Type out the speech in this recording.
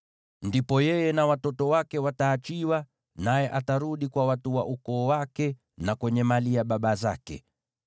Ndipo yeye na watoto wake wataachiwa, naye atarudi kwa watu wa ukoo wake, na kwenye mali ya baba zake.